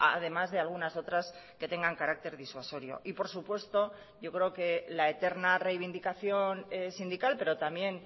además de algunas otras que tengan carácter disuasorio y por supuesto yo creo que la eterna reivindicación sindical pero también